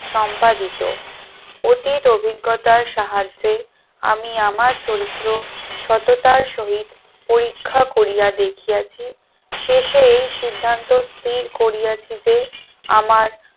সম্পাদিত অতীত অভিজ্ঞতার সাহায্যে আমি আমার চরিত্র সততার সহিত পরীক্ষা করিয়া দেখিয়াছি শেষে এই সিদ্ধান্ত স্থির করিয়াছি যে আমার